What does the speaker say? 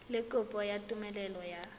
le kopo ya tumelelo ya